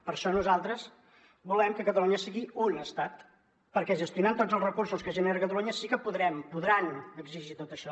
per això nosaltres volem que catalunya sigui un estat perquè gestionant tots els recursos que genera catalunya sí que podrem podran exigir tot això